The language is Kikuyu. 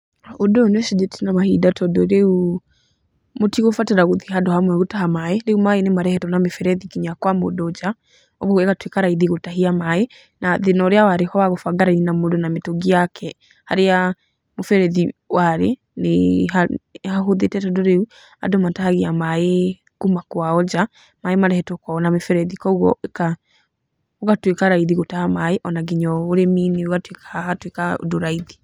Ũndũ ũyũ nĩ ũcenjetie na mahinda tondũ rĩu mũtigũbatara gũthiĩ handũ hamwe gũtaha maĩ, rĩu maĩ nĩ marehetwo na mĩberethi nginya kwa mũndũ njaa, ũguo ĩgatuĩka raithi gũtahia maaĩ na thĩna ũrĩa warĩho wa gũbanga raini na mũndũ na mĩtũngi yake harĩa mũberethi warĩ, nĩ hahũthĩte tondũ rĩu andũ matahagia maĩ kuma kwao njaa, maĩ marehetwo kwao na mĩberethi kuũguo gũgatuĩka raithi gũtaha maĩ ona nginya ũrĩmi-inĩ ũgatuika hagatuĩka ũndũ raithi.